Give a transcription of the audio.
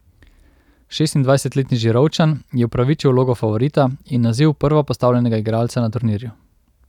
Šestindvajsetletni Žirovničan je upravičil vlogo favorita in naziv prvopostavljenega igralca na turnirju.